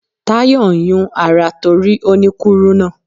Tayọ̀ ń yún ara torí ó ní kúrúnà.